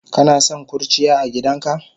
Kanason kurciya agidanka?